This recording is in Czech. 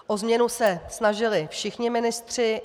O změnu se snažili všichni ministři.